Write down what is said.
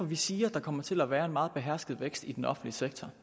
vi siger at der kommer til at være en meget behersket vækst i den offentlige sektor